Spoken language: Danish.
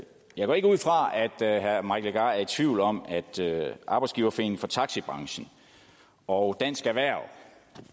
jeg går ikke ud fra at herre mike legarth er i tvivl om at arbejdsgiverforeningen for taxibranchen og dansk erhverv